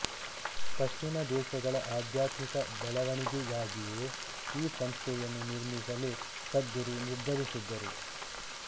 ಪಶ್ಚಿಮ ದೇಶಗಳ ಆಧ್ಯಾತ್ಮಿಕ ಬೆಳವಣಿಗೆಗಾಗಿಯೇ ಈ ಸಂಸ್ಥೆಯನ್ನು ನಿರ್ಮಿಸಲು ಸದ್ಗುರು ನಿರ್ಧರಿಸಿದ್ದರು